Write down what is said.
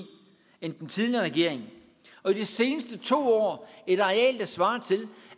end den tidligere regering og i de seneste to år et areal der svarer til